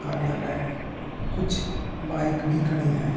कार्यलय है। कुछ बाइक भी खड़ी हैं।